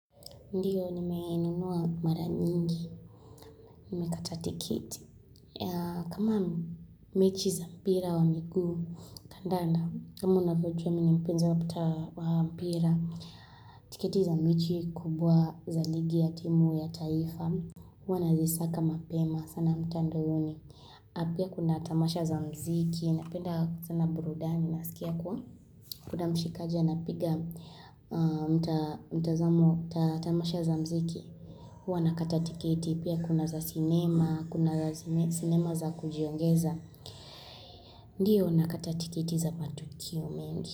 Ndiyo, nimeenunua mara nyingi, nimekatatikiti. Kama mechi za mpira wa miguu, kandanda, kama unavyojua mimi mpenzo waputa wa mpira, tiketi za mechi kubwa za ligi ya timu ya taifa, huwa nazisaka mapema, sana mtandaoni. Apia kuna tamasha za mziki, napenda sana burudani, nasikia kwa kuwa mshikaja na piga mtazamo ta tamasha za mziki. Huwa nakata tikiti pia kuna za sinema, kuna za sinema za kujiongeza. Ndiyo nakata tikiti za matukio mengi.